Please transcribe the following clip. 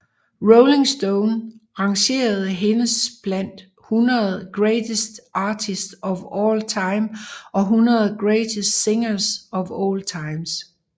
Rolling Stone rangerede hendes blandt 100 Greatest Artists of All Time og 100 Greatest Singers of All Time